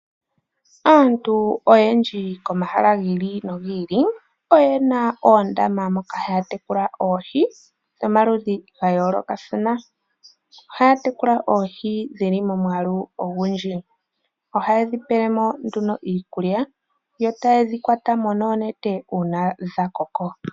Aantu oyendji komahala gi ili nogi ili oyena oondama moka haya tekulile oohi dhomaludhi ga yoolokathana. Ohaya tekula oohi dhi li momwaalu ogundji. Ohaye dhi pele mo nduno iikulya, yo taye dhi kwata mo nduno uuna dha koka.